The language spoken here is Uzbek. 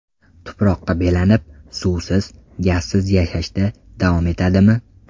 Tuproqqa belanib, suvsiz, gazsiz yashashda davom etadimi?